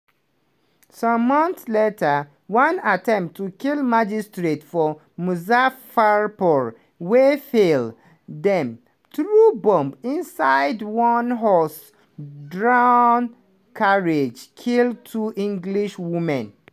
some months later one attempt to kill magistrate for muzaffarpur wey fail – dem threw bomb inside one horse-drawn carriage – kill two english women.